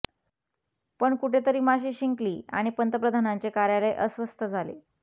पण कुठेतरी माशी शिंकली आणि पंतप्रधानांचे कार्यालय अस्वस्थ झाले